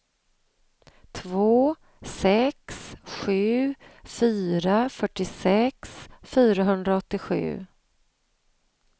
två sex sju fyra fyrtiosex fyrahundraåttiosju